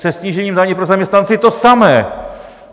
Se snížením daně pro zaměstnance to samé.